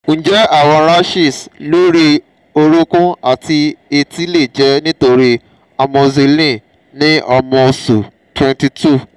njẹ awọn rashes lori orokun ati eti le jẹ nitori amoxicillin ni ọmọ oṣu 22?